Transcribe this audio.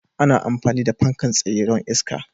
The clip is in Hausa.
ana amfani da fankan tsaye don iska.